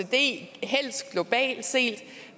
det er helst globalt set